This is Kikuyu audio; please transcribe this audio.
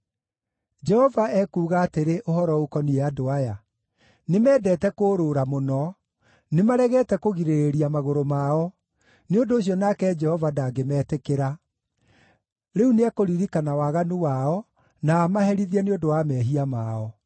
Jehova ekuuga atĩrĩ ũhoro ũkoniĩ andũ aya: “Nĩmendete kũũrũũra mũno; nĩmaregete kũgirĩrĩria magũrũ mao. Nĩ ũndũ ũcio nake Jehova ndangĩmetĩkĩra; rĩu nĩekũririkana waganu wao, na amaherithie nĩ ũndũ wa mehia mao.”